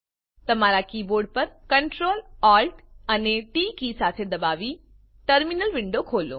તમારા કીબોર્ડ પર Ctrl Alt અને ટી કી એકસાથે દાબીને ટર્મીનલ વિન્ડો ખોલો